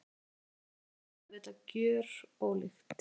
Andlitið er auðvitað gjörólíkt.